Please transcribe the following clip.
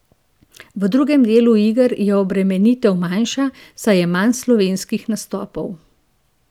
V drugem delu iger je obremenitev manjša, saj je manj slovenskih nastopov.